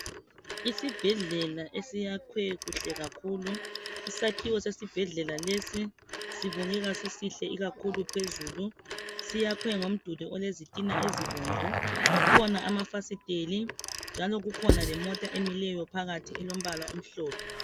Isibhedlela esiyakwe kuhle kakhulu, isakhiwo sesibhedlela lesi sibukeka sisihle ikakhulu phezulu siyakwe ngomduli olezitina ezibomvu , kukhona amafasiteli lemota emileyo phakathi elombala omhlophe.